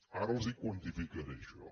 ara els quantificaré això